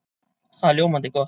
Það er ljómandi gott!